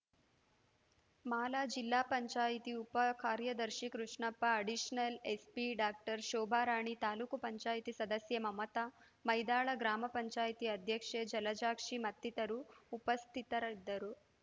ಮಾಲಾಜಿಲ್ಲಾ ಪಂಚಾಯತಿ ಉಪಕಾರ್ಯದರ್ಶಿ Krishnappa additional SP doctor Shobharani taluk ಪಂಚಾಯತಿ ಸದಸ್ಯೆ ಮಮತಾ ಮೈದಾಳ ಗ್ರಾಮ ಪಂಚಾಯತಿ ಅಧ್ಯಕ್ಷೆ ಜಲಜಾಕ್ಷಿ ಮತ್ತಿತರರು ಉಪಸ್ಥಿತರಿದ್ದರು